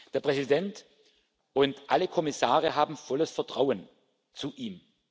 tun. Der Präsident und alle Kommissare haben volles Vertrauen zu